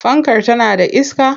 Fankar tana da iska?